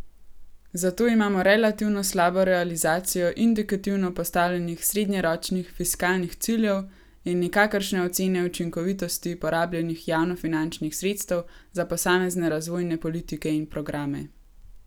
Zato imamo relativno slabo realizacijo indikativno postavljenih srednjeročnih fiskalnih ciljev in nikakršne ocene učinkovitosti porabljenih javnofinančnih sredstev za posamezne razvojne politike in programe.